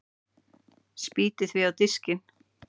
Spýti því á diskinn.